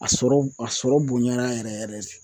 A sɔrɔ a sɔrɔ bonyara yɛrɛ yɛrɛ de.